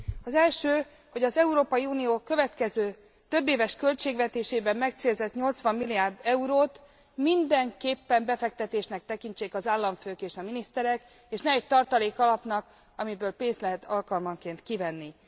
Az első, hogy az Európai Unió következő, többéves költségvetésében megcélzott 80 milliárd eurót mindenképpen befektetésnek tekintsék az államfők és a miniszterek, és ne egy tartalék alapnak, amiből pénzt lehet alkalmanként kivenni.